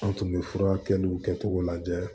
An tun bɛ furakɛliw kɛcogo lajɛ